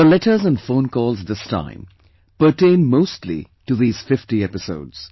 Your letters and phone calls this time pertain mostly to these 50 episodes